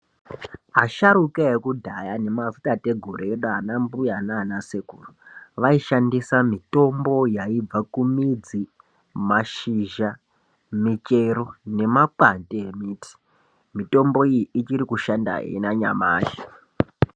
Asharuka yekudhaya neanatateguru edu ana mbuya nana sekuru, vaishandisa mitombo yaibva kumidzi, mashizha, michero nema kwati emuti, mitombo iyi ichiri kushanda nanyamushi.